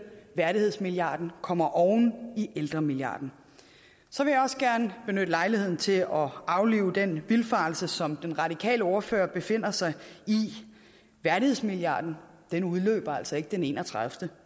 værdighedsmilliarden kommer oven i ældremilliarden så vil jeg også gerne benytte lejligheden til at aflive den vildfarelse som den radikale ordfører befinder sig i værdighedsmilliarden udløber altså ikke den enogtredivete